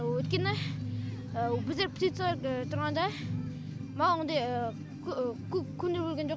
өйткені біздер птице тұрғанда маған ондай көп көңіл бөлген жоқ